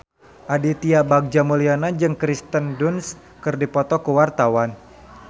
Aditya Bagja Mulyana jeung Kirsten Dunst keur dipoto ku wartawan